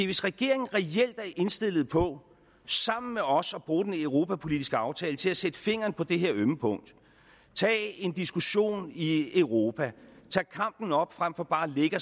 hvis regeringen reelt er indstillet på sammen med os at bruge den europapolitiske aftale til at sætte fingeren på det her ømme punkt tage en diskussion i europa tage kampen op frem for bare at lægge